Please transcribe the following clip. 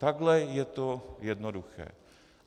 Takhle je to jednoduché.